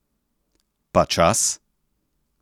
Pa čas?